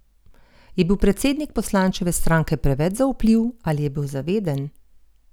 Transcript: Je bil predsednik poslančeve stranke preveč zaupljiv, ali je bil zaveden?